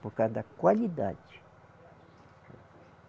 Por causa da qualidade.